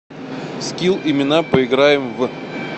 скилл имена поиграем в